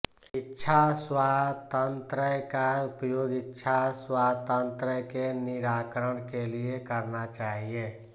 इच्छास्वातंत्रय का उपयोग इच्छास्वातंत्रय के निराकरण के लिए करना चाहिए